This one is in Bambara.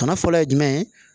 Bana fɔlɔ ye jumɛn ye